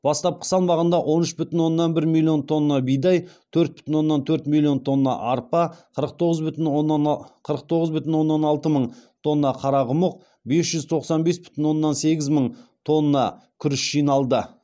бастапқы салмағында он үш бүтін оннан бір миллион тонна бидай төрт бүтін оннан төрт миллион тонна арпа қырық тоғыз бүтін оннан алты мың тонна қарақұмық бес жүз тоқсан бес бүтін оннан сегіз мың тонна күріш жиналды